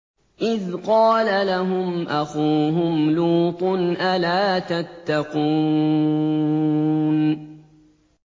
إِذْ قَالَ لَهُمْ أَخُوهُمْ لُوطٌ أَلَا تَتَّقُونَ